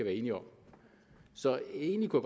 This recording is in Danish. enige om så egentlig kunne